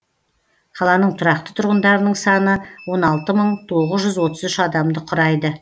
қаланың тұрақты тұрғындарының саны он алты мың тоғыз жүз отыз үш адамды құрайды